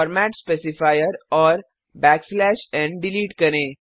format specifier और n delete करें